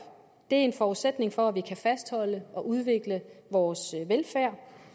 er en forudsætning for at vi kan fastholde og udvikle vores velfærd